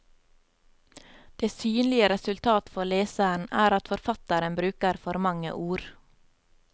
Det synlige resultat for leseren er at forfatteren bruker for mange ord.